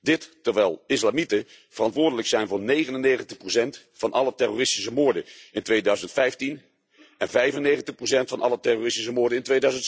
Dit terwijl islamieten verantwoordelijk zijn voor 99 van alle terroristische moorden in 2015 en 95 van alle terroristische moorden in